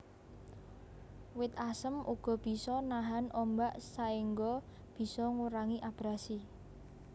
Wit asem uga bisa nahan ombak saengga bisa ngurangi abrasi